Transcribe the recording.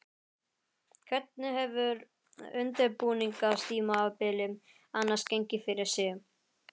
Hvernig hefur undirbúningstímabilið annars gengið fyrir sig?